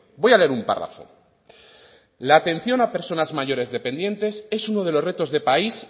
voy a leer un párrafo la atención a personas mayores dependientes es uno de los retos de país